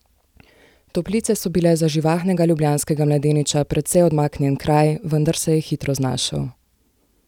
Toplice so bile za živahnega ljubljanskega mladeniča precej odmaknjen kraj, vendar se je hitro znašel.